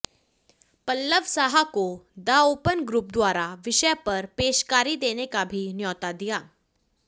पलब्ब साहा को the open group द्वारा विषय पर पेशकारी देने का भी न्योता दिया